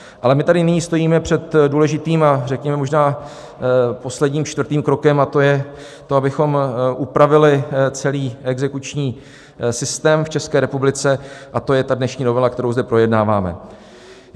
Ale my tady nyní stojíme před důležitým a řekněme možná posledním čtvrtým krokem, a to je to, abychom upravili celý exekuční systém v České republice, a to je ta dnešní novela, kterou zde projednáváme.